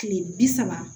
Kile bi saba